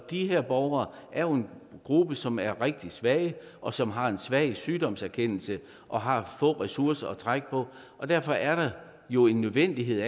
de her borgere er nogle som er rigtig svage og som har en svag sygdomserkendelse og har få ressourcer at trække på og derfor er der jo en nødvendighed